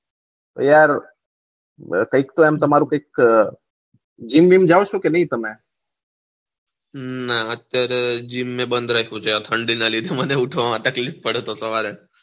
yaar parfection તમારું કઈ કે જિમ બીમ જાવ છો કે ની તમે હમમ મેં અત્યારે જીમ બંધ રાખું છે આ ઠંડી ના લીધે મને ઉઠવામાં તકલીફ પડે તો સવારે